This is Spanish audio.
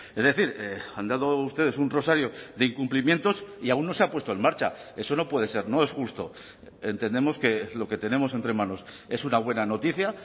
es decir han dado ustedes un rosario de incumplimientos y aún no se ha puesto en marcha eso no puede ser no es justo entendemos que lo que tenemos entre manos es una buena noticia